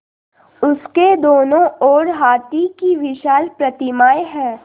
उसके दोनों ओर हाथी की विशाल प्रतिमाएँ हैं